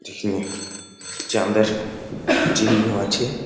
ঝিকিমিক চাঁদের চিহ্ন আছে ।